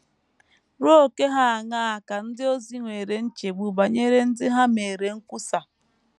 Ruo ókè ha aṅaa ka ndị ozi nwere nchegbu banyere ndị ha meere nkwusa?